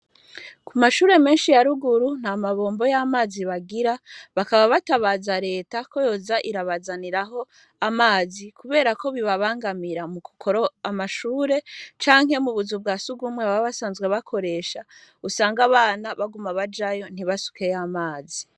Ku mashure menshi yaruguru nta mabombo y'amazi bagira bakaba batabaza leta ko yoza irabazaniraho amazi, kubera ko bibabangamira mu kukoro amashure cankey mu buzu bwasugumwe baba basanzwe bakoresha usange abana baguma bajayo ntibasukeyo amazi.